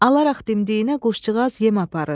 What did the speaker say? Alaraq dimdiyinə quşcuğaz yem aparır.